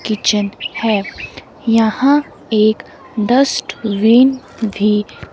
kitchen है यहां एक डस्टबिन भी--